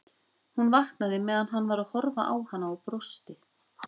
Hún vaknaði meðan hann var að horfa á hana og brosti.